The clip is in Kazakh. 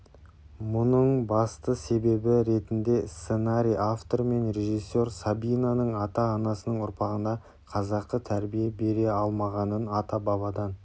мұның басты себебі ретінде сценарий авторы мен режиссер сабинаның ата-анасының ұрпағына қазақы тәрбие бере алмағанын атабабадан